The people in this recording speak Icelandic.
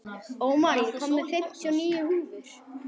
Ómar, ég kom með fimmtíu og níu húfur!